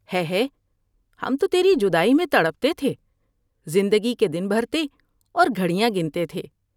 ہے ہے ، ہم تو تیری جدائی میں تڑپتے تھے ، زندگی کے دن بھرتے اور گھڑیاں گنتے تھے ۔